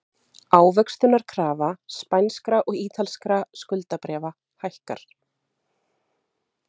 Ávöxtunarkrafa spænskra og ítalskra skuldabréfa hækkar